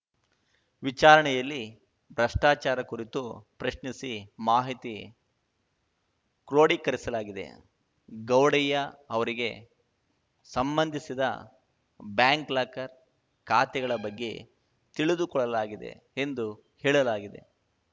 ವಿಚಾರಣೆಯಲ್ಲಿ ಭ್ರಷ್ಟಾಚಾರ ಕುರಿತು ಪ್ರಶ್ನಿಸಿ ಮಾಹಿತಿ ಕ್ರೋಢೀಕರಿಸಲಾಗಿದೆ ಗೌಡಯ್ಯ ಅವರಿಗೆ ಸಂಬಂಧಿಸಿದ ಬ್ಯಾಂಕ್‌ ಲಾಕರ್‌ ಖಾತೆಗಳ ಬಗ್ಗೆ ತಿಳಿದುಕೊಳ್ಳಲಾಗಿದೆ ಎಂದು ಹೇಳಲಾಗಿದೆ